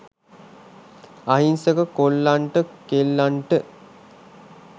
අහිංසක කොල්ලන්ට කෙල්ලන්ට